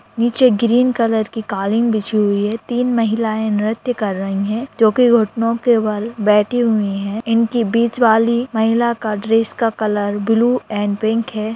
नीचे green colour की कालिन बिछी हुई है तीन महिलाएं नृत्य कर रही है जो कि घुटनों के बाल बैठी हुई है इनकी बीच वाली महिला का ड्रेस का कलर ब्लू एंड पिंक हैं।